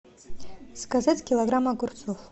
заказать килограмм огурцов